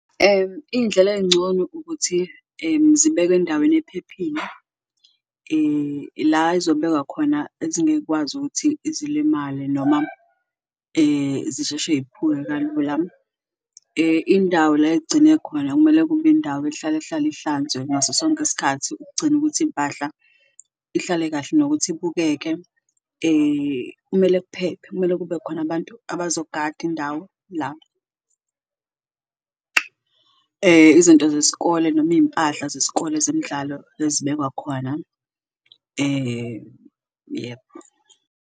Iy'ndlela ey'ncono ukuthi zibekwe endaweni ephephile la ezobekwa khona ezinge y'kwazi ukuthi zilimale noma zisheshe y'phuke kalula, indawo la ekugcine khona kumele kube indawo ehlalahlale ihlanzwe ngaso sonke isikhathi ukugcina ukuthi impahla ihlale kahle nokuthi ibukeke. Kumele kuphephe, kumele kube khona abantu abazogada indawo la izinto zesikole noma iy'mpahla zesikole zemidlalo ezibekwa khona yebo.